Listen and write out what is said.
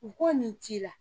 U ko nin t'i la.